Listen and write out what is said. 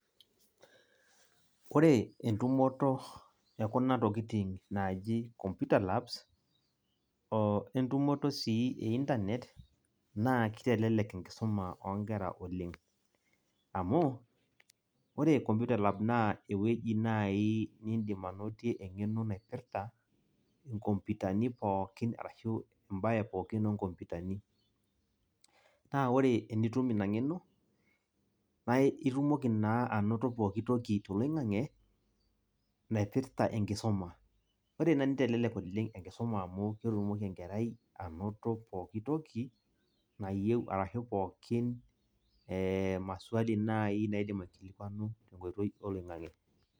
Ore entumoto ekuna tokitin naji computer labs oo entumoto sii einternet naa kitelelek enkisuma onkera oleng , amu ore computer lab naa ewueji naji nindim anotie engeno naipirta kompitani pookin arashu mbae pookin oo nkompitani . Naa ore tenitum ina ngeno naa itumoki naa anoto pooki toki toloingange naipirta enkisuma. Ore ina nitelelek oleng enkisuma amu ketumoki enkerai anoto pooki toki nayieu arashu pooki maswali naji naidim aikilikwanu tenkoitoi oloingange.